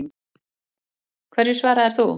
Hverju svaraðir þú?